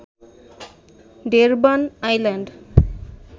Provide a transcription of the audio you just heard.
Durban island